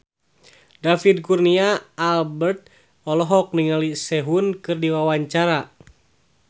David Kurnia Albert olohok ningali Sehun keur diwawancara